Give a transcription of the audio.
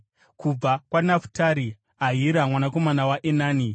kubva kwaNafutari, Ahira mwanakomana waEnani.”